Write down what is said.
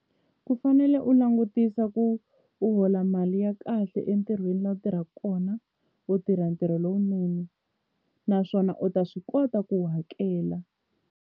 Ku fanele u langutisa ku u hola mali ya kahle entirhweni laha u tirhaka kona u tirha ntirho lowunene naswona u ta swi kota ku hakela.